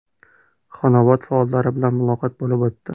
Xonobod faollari bilan muloqot bo‘lib o‘tdi.